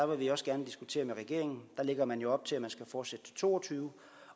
vil vi også gerne diskutere med regeringen der lægger man jo op til at man skal fortsætte til to og tyve